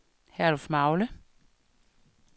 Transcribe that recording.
Herlufmagle